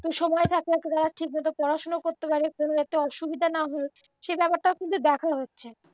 তো সময় থাকতে থাকতে তারা ঠিকমতো পড়াশুনো করতে পারে কোনোরকম অসুবিধা না হয়ে সেই ব্যাপারটাও কিন্তু দেখা হচ্ছে